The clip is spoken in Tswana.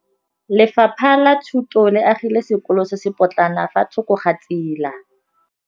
Lefapha la Thuto le agile sekôlô se se pôtlana fa thoko ga tsela.